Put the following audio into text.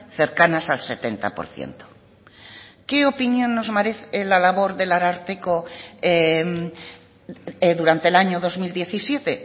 cercanas al setenta por ciento qué opinión nos merece la labor del ararteko durante el año dos mil diecisiete